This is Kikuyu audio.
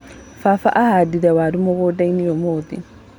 Baba ahandire waru mũgũndainĩ ũmũthĩ.